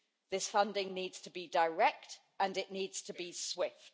This funding needs to be direct and it needs to be swift.